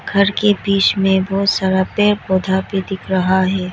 घर के बीच में बहोत सारा पेड़ पौधा भी दिख रहा है।